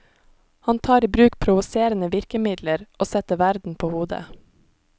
Han tar i bruk provoserende virkemidler, og setter verden på hodet.